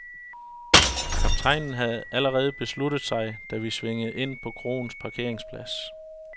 Kaptajnen havde allerede besluttet sig, da vi svingede ind på kroens parkeringsplads.